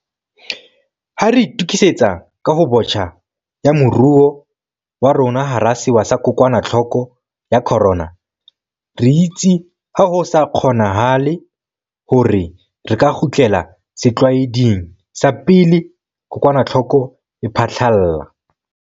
Ha re itukisetsa kahobotjha ya moruo wa rona hara sewa sa kokwanahloko ya corona, re itse ha ho sa kgonanahale hore re ka kgutlela setlwaeding sa pele kokwanahloko e phahlalla.